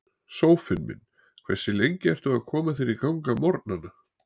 Sófinn minn Hversu lengi ertu að koma þér í gang á morgnanna?